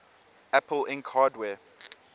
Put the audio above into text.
apple inc hardware